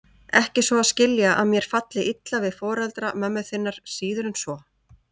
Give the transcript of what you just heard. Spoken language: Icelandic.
Ekki svo að skilja að mér falli illa við foreldra mömmu þinnar, síður en svo.